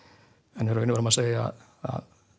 en í raun og veru má segja að